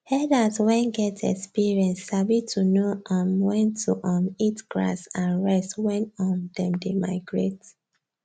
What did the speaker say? herders wen get experience sabi to know um wen to um eat grass and rest wen um them dey migrate